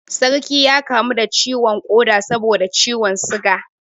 Sarki ya kamu da ciwon koda saboda ciwon suga